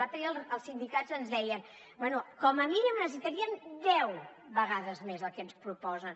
l’altre dia els sindicats ens deien bé com a mínim necessitaríem deu vegades més del que ens proposen